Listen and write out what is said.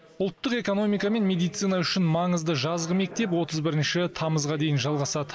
ұлттық экономика мен медицина үшін маңызды жазғы мектеп отыз бірінші тамызға дейін жалғасады